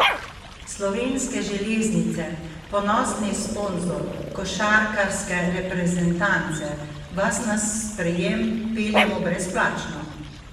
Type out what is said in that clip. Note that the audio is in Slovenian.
Slovenske železnice, ponosni sponzor košarkarske reprezentance, vas na sprejem peljemo brezplačno!